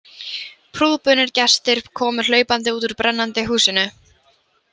Prúðbúnir gestir komu hlaupandi út úr brennandi húsinu.